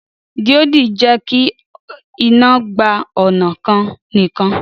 Díòdì jẹ́kí iná gba ọnà kan nìkan